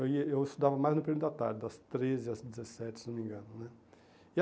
Aí eh Eu estudava mais no período da tarde, das treze às dezessete, se não me engano né.